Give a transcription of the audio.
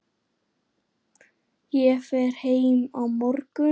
Ég fer heim á morgun.